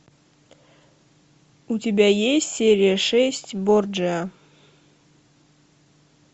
у тебя есть серия шесть борджиа